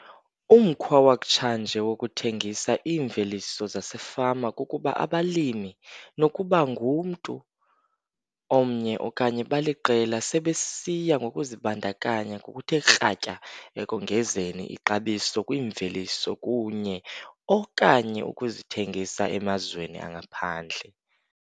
Umkhwa wakutshanje wokuthengisa iimveliso zasefama kukuba abalimi, nokuba ngumntu omnye okanye baliqela, sebesiya ngokuzibandakanya ngokuthe kratya ekongezeni ixabiso kwiimveliso kunye - okanye ukuzithengisa emazweni angaphandle.